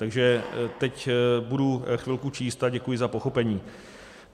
Takže teď budu chvilku číst a děkuji za pochopení.